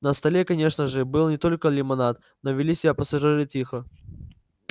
на столе конечно же был не только лимонад но вели себя пассажиры тихо